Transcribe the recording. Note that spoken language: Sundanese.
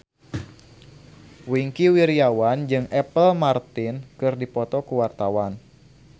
Wingky Wiryawan jeung Apple Martin keur dipoto ku wartawan